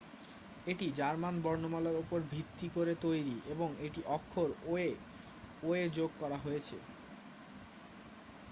"এটি জার্মান বর্ণমালার ওপর ভিত্তি করে তৈরি এবং একটি অক্ষর "õ/õ" যোগ করা হয়েছে।